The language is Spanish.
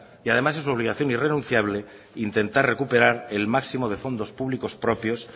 y además es su obligación irrenunciable intentar recuperar el máximo de fondos públicos propios